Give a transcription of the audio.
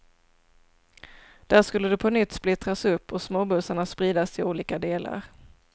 Där skulle det på nytt splittras upp och småbussarna spridas till olika delar.